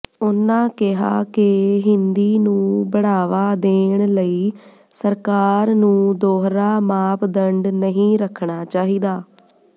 ਉਨ੍ਹਾਂ ਕਿਹਾ ਕਿ ਹਿੰਦੀ ਨੂੰ ਬੜ੍ਹਾਵਾ ਦੇਣ ਲਈ ਸਰਕਾਰ ਨੂੰ ਦੋਹਰਾ ਮਾਪਦੰਡ ਨਹੀਂ ਰੱਖਣਾ ਚਾਹੀਦਾ